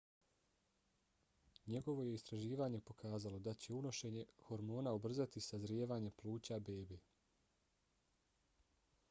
njegovo je istraživanje pokazalo da će unošenje hormona ubrzati sazrijevanje pluća bebe